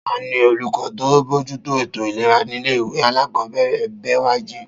Ta ni olùkọ́ tó ń bójútó ètò ìlera nílé ìwé alákọ̀ọ́bẹ̀rẹ̀ Bẹ́wàjí?